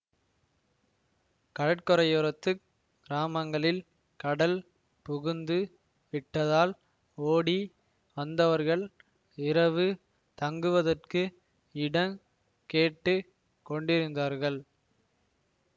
கடற்கரையோரத்துக் கிராமங்களில் கடல் புகுந்து விட்டதால் ஓடி வந்தவர்கள் இரவு தங்குவதற்கு இடங் கேட்டு கொண்டிருந்தார்கள்